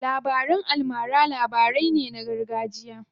Labaran almara labarai ne na gargajiya.